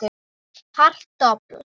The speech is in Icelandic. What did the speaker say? Hart dobl.